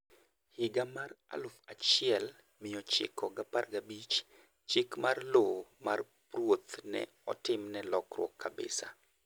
Higa mar 1915, chik mar Lowo mar Ruoth ne otim ne lokruok kabisa